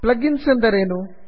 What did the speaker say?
plug ins ಎಂದರೇನು